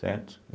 Certo?